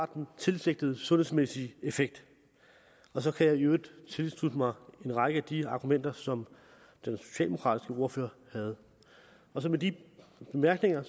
den tilsigtede sundhedsmæssige effekt så kan jeg i øvrigt tilslutte mig en række af de argumenter som den socialdemokratiske ordfører havde med de bemærkninger